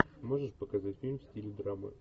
можешь показать фильм в стиле драмы